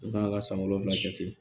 I b'a ka san wolonwula jate